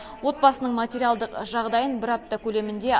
отбасының материалдық жағдайын бір апта көлемінде